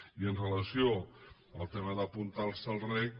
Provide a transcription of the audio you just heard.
i amb relació al tema d’apuntar se al reg